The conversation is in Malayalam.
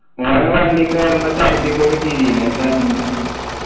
അവൻ ആ വണ്ടി കയറുമ്പോ ഛർദിക്കൊക്കെ ചെയ്തീൻ എന്താ കാട്ടീനെ